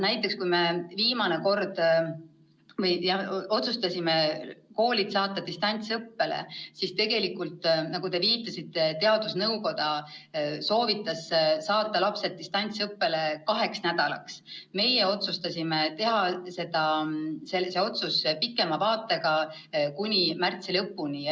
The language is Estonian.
Näiteks, kui me viimane kord otsustasime koolid saata distantsõppele, siis tegelikult, nagu te viitasite, teadusnõukoda soovitas saata lapsed distantsõppele kaheks nädalaks, meie otsustasime teha selel otsuse pikema vaatega, kuni märtsi lõpuni.